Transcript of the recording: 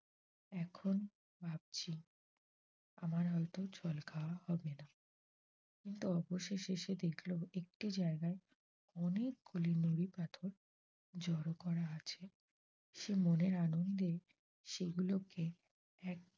আমার হয়ত জল খাওয়া হবে না কিন্তু অবশেষে সে দেখল একটু জায়গায় অনেকগুলি নূরি পাথর জড়ো করা আছে সে মনের আনন্দে সেগুলো কে এক